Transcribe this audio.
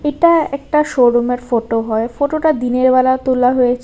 এটা একটা শোরুমের ফটো হয় ফটোটা দিনেরবেলা তোলা হয়েছ--